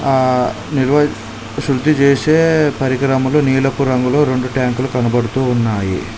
ఆ నిలవ శృద్ధి చేసే పరికరములు నీలపు రంగులో రొండు ట్యాంకులు కనబడుతూ ఉన్నాయి.